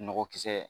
Nɔgɔkisɛ